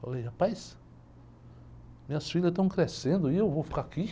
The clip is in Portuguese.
Falei, rapaz, minhas filhas estão crescendo e eu vou ficar aqui?